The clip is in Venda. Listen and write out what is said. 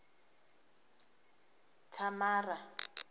thamara